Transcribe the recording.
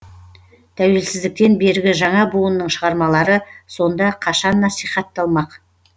тәуелсіздіктен бергі жаңа буынның шығармалары сонда қашан насихатталмақ